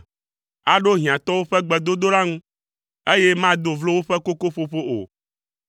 Aɖo hiãtɔwo ƒe gbedodoɖa ŋu, eye mado vlo woƒe kokoƒoƒo o.